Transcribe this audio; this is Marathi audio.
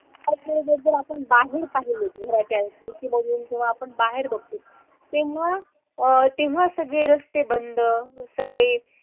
आज जे बदल आपण बाहेर पाहिले घराच्या खिडकीमधून जेव्हा आपण बघतो तेव्हा अह तेव्हा सगळे रस्ते बंद, सगळे,